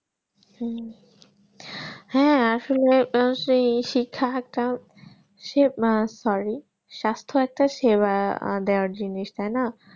হম হ্যাঁ আসলে সেই শিক্ষা একটা সে মানে sorry সাস্থ একটা সেবা দেওয়ার জিনিস তাই না